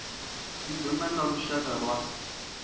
i do nanga lushaka lwa